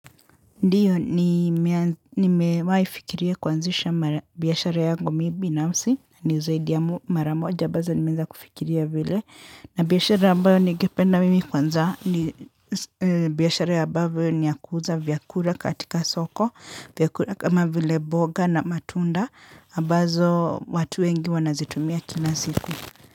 Ndiyo, nimewai fikiria kwanzisha biyashara yangu mi binafsi, ni zaidi ya maramoja, ambazo nimeeza kufikiria vile. Na biyashara ambayo ningependa mimi kwanza, biyashara ya ambavyo niya kuuza vyakura katika soko, vyakura kama vile boga na matunda, abazo watu wengi wanazitumia kina siku.